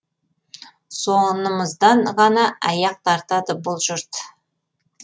сонымыздан ғана аяқ тартады бұл жұрт